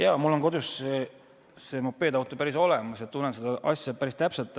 Jaa, mul on kodus see mopeedauto olemas, tunnen seda asja päris täpselt.